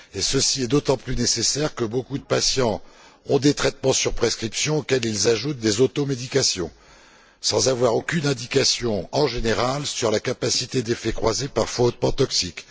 Ceci est d'autant plus nécessaire que beaucoup de patients ont des traitements sur prescription auxquels ils ajoutent des automédications, sans avoir aucune indication, en général, sur la capacité d'effets croisés parfois hautement toxiques.